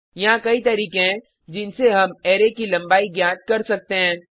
यहाँ कई तरीके हैं जिनसे हम अरै की लंबाई ज्ञात कर सकते हैं